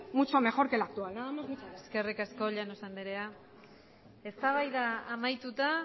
mucho mejor que la actual nada más muchas gracias eskerrik asko llanos andrea eztabaida amaituta